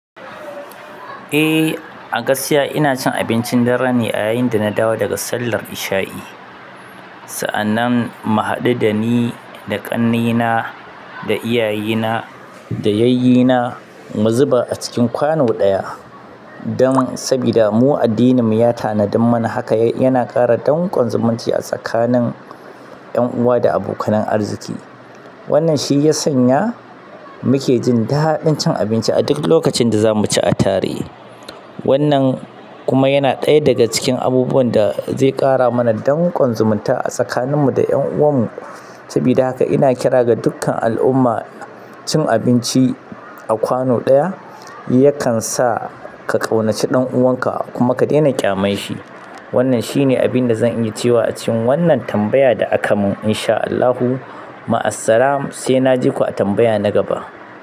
Eh, a gaskiya ina cin abincin dare ne ayayin da na dawo daga sallar isha'i. Sa'annan mu haɗu da ni, da ƙannena, da iyayena, da yayyena, mu zuba a cikin kwano ɗaya. Dan sabida mu addininmu ya tanadin mana haka, yana ƙara danƙon zumunci a tsakanin 'yan uwa da abokanan arziki. Wannan shi ya sanya muke jin daɗin cin abinci a duk lokacin da za mu ci a tare. Wannan kuma yana ɗaya daga cikin abubuwan da zai ƙara mana danƙon zumunta a tsakaninmu da 'yan uwanmu. Sabida haka ina kira ga dukkan al'umma cin abinci a kwano ɗaya yakansa ka ƙaunaci ɗan uwanka kuma ka daina ƙyaman shi. Wannan shine abin da zan iya cewa a cikin wannan tambaya da aka mun. In sha Allahu, ma'assalam, sai naji ku a tambaya na gaba.